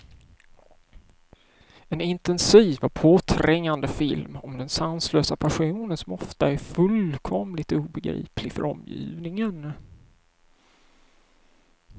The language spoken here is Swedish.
En intensiv och påträngande film om den sanslösa passionen, som ofta är fullkomligt obegriplig för omgivningen.